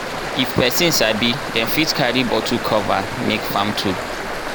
if pesin sabi dem fit carry bottle cover make farm tool.